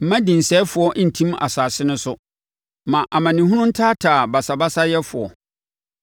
Mma dinsɛefoɔ ntim asase no so; ma amanehunu ntaataa basabasayɛfoɔ.